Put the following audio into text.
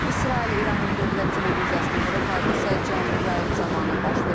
İsrail İranın dövlət televiziyasını vurub, hadisə canlı yayım zamanı baş verib.